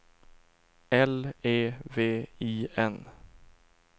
L E V I N